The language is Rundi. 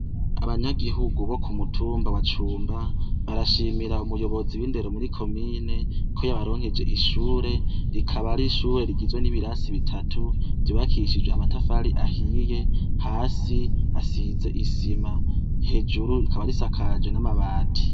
Abanyagihugu bo ku mutumba wa Cumba barashimira umuyobozi w’indero muri komine ko yabaronkeje ishure, rikaba ari ishure rigizwe n’ibirasi bitatu vyubakishije amatafari ahiye, hasi hasize isima, hejuru rikaba risakaje n’amabati.